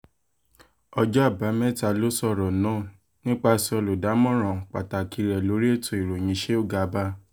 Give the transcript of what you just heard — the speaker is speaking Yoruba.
ọjọ́ àbámẹ́ta ló sọ̀rọ̀ náà nípasẹ̀ olùdámọ̀ràn pàtàkì rẹ̀ lórí ètò ìròyìn sheu garba